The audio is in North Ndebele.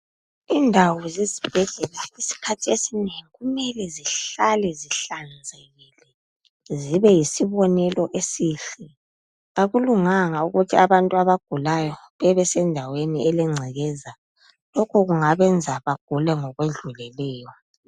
Indawo zesibhedlela isikhathi esinengi kumele zihlale zihlanzekile, zibe yisibonelo esihle. Akulunganga ukuthi abantu abagulayo bebe sendaweni elengcekeza, lokho kungabenza bagule ngokwedluleleyo.